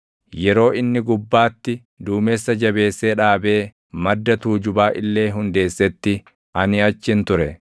yeroo inni gubbaatti duumessa jabeessee dhaabee madda tuujubaa illee hundeessetti ani achin ture;